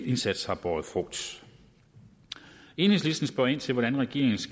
indsats har båret frugt enhedslisten spørger ind til hvordan regeringen